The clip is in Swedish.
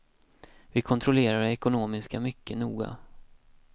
Vi kontrollerade det ekonomiska mycket noga.